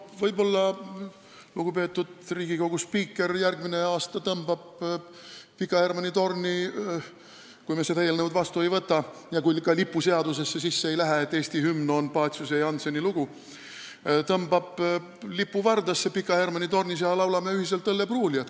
Võib-olla tõmbab lugupeetud Riigikogu spiiker järgmisel aastal – kui me seda eelnõu vastu ei võta ja see, et Eesti hümn on Paciuse ja Jannseni lugu, ka lipuseadusesse sisse ei lähe – Pika Hermanni tornis lipu vardasse ja meie laulame ühiselt "Õllepruulijat".